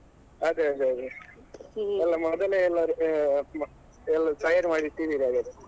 ಅದೇ ಅದೇ ಅದೇ ಎಲ್ಲ ಮೊದಲೇ ಎಲ್ಲಾ ಎಲ್ಲಾ ತಯಾರ್ ಮಾಡಿಟ್ಟಿದ್ದೀರಿ ಹಾಗಾದ್ರೆ.